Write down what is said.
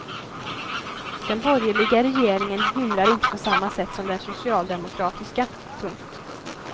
Den borgerliga regeringen hymlar inte på samma sätt som den socialdemokratiska. punkt